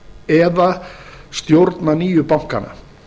eða stjórna nýju bankanna